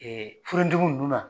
ninnu na.